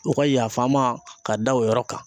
U ka yafa n ma k'a da o yɔrɔ kan